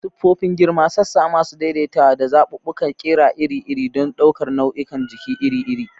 Siffofin girma, sassa masu daidaitawa, da zaɓuɓɓukan ƙira iri-iri don ɗaukar nau'ikan jiki iri-iri.